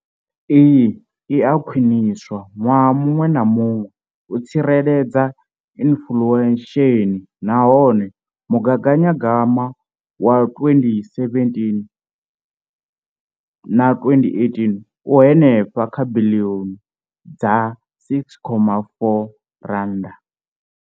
Iyi i a khwiniswa ṅwaha muṅwe na muṅwe u tsireledza inflesheni nahone mugaganyagwama wa 2017,18 u henefha kha biḽioni dza R6.4.